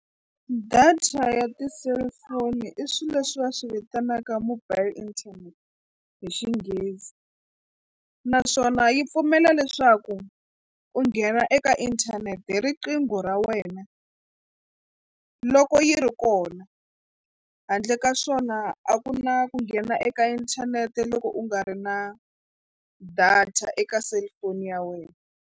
Data ya ti-cellphone i swilo leswi va swi vitanaka mobile internet hi Xinghezi naswona yi pfumela leswaku u nghena eka inthanete hi riqingho ra wena loko yi ri kona handle ka swona a ku na ku nghena eka inthanete loko u nga ri na data eka cellphone ya wena.